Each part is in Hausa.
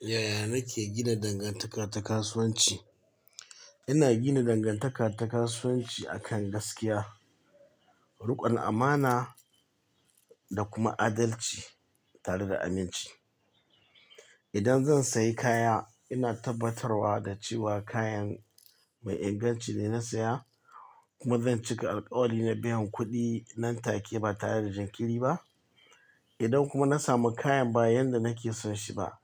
Yaya nake gina dangantaka ta kasuwanci? Ina gina dangantaka ta kasuwanci akan gaskiya, rikon amana da kuma adalci tare da aminci. Idan zan sayi kaya, ina tabbatarwa da cewa kayan mai inganci ne na saya kuma zan cika alƙawari na biyan kuɗin nan take ba tare da jinkiri ba. Idan kuma na samu kayan ba yanda nake son shi ba,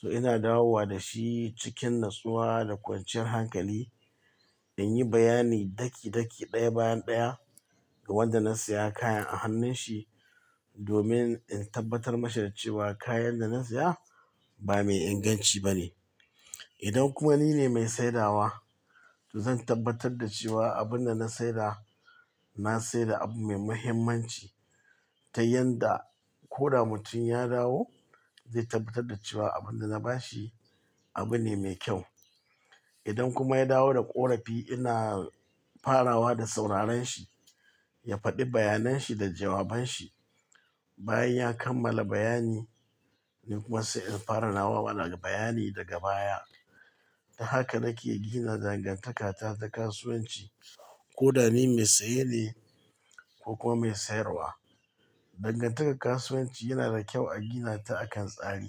to ina dawowa da shi cikin natsuwa da kwanciyar hankali in yi bayani daki-daki, ɗaya bayan ɗaya ga wanda na saya kayan a hannun shi domin in tabbatar mashi da cewa kayan da na saya ba mai inganci ba ne. Idan kuma ni ne mai saidawa, to zan tabbatar da cewa abin da na saida, na saida abu mai mahimmanci ta yanda ko da mutum ya dawo zai tabbatar da cewa abin da na bashi abu ne mai kyau. Idan kuma ya dawo da ƙorafi, ina farawa da sauraren shi, ya faɗi bayanan shi da jawaban shi. Bayan ya kammala bayani, ni kuma sai in fara nawa bayani daga baya. Ta haka nake gina dangantakata ta kasuwanci ko da ni mai saye ne ko kuma mai sayarwa. Dangantakar kasuwanci yana da kyau a gina ta akan tsari,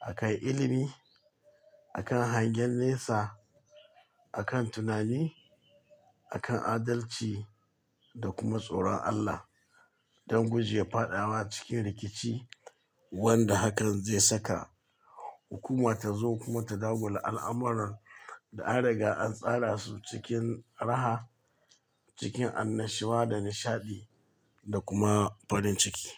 akan ilimi, akan hangen nesa, akan tunani, akan adalci da kuma tsoron Allah don guje faɗawa cikin rikici wanda hakan zai saka hukuma tazo kuma ta dagula al'amuran da an riga an tsara su cikin raha, cikin annashuwa da nishaɗi da kuma farin ciki.